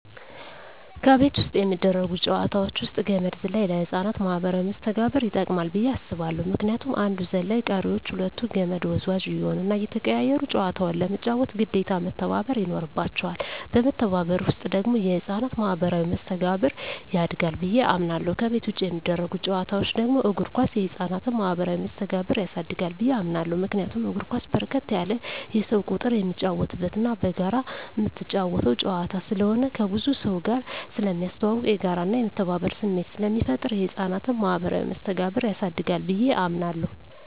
ከቤት ውስጥ የሚደረጉ ጨዋታወች ውስጥ ገመድ ዝላይ ለህፃናት ማኀበራዊ መስተጋብር ይጠቅማ ብየ አስባለሁ ምክንያቱም አንዱ ዘላይ ቀሪወች ሁለቱ ከመድ ወዝዋዥ እየሆኑና እየተቀያየሩ ጨዋታውን ለመጫወት ግዴታ መተባበር ይኖርባቸዋል በመተባበር ውስጥ ደግሞ የህፃናት ማኋበራዊ መስተጋብር ያድጋል ብየ አምናለሁ። ከቤት ውጭ የሚደረጉ ጨዋታወች ደግሞ እግር ኳስ የህፃናትን ማህበራዊ መስተጋብር ያሳድጋል ብየ አምናለሁ። ምክንያቱም እግር ኳስ በርከት ያለ የሰው ቁጥር የሚጫወትበትና በጋራ ምትጫወተው ጨዋታ ስለሆነ ከብዙ ሰውጋር ስለሚያስተዋውቅ፣ የጋራና የመተባበር ስሜት ስለሚፈጥር የህፃናትን ማኀበራዊ መስተጋብር ያሳድጋል ብየ አምናለሁ።